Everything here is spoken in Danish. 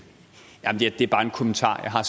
kommentar jeg har